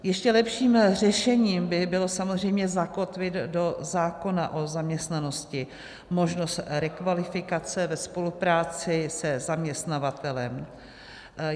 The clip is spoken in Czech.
Ještě lepším řešením by bylo samozřejmě zakotvit do zákona o zaměstnanosti možnost rekvalifikace ve spolupráci se zaměstnavatelem.